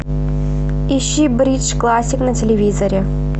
ищи бридж классик на телевизоре